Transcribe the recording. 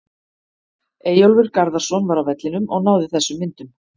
Eyjólfur Garðarsson var á vellinum og náði þessum myndum.